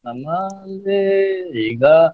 ನಮ್ಮ್ ಅಲ್ಲಿ ಈಗಾ.